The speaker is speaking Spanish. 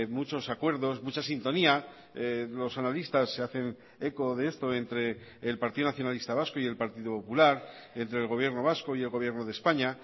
muchos acuerdos mucha sintonía los analistas se hacen eco de esto entre el partido nacionalista vasco y el partido popular entre el gobierno vasco y el gobierno de españa